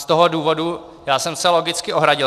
Z toho důvodu já jsem se logicky ohradil.